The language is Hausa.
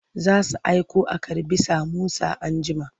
Za su aiko a karɓi samosa anjima.